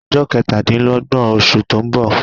Ọjọ́ ketadinlogbọn osù to ń bọ